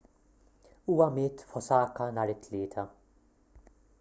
huwa miet f'osaka nhar it-tlieta